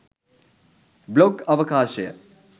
blog අවකාශය